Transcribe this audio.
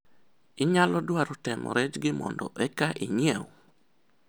inyalo dwaro temo rejgi mondo eka inyiew?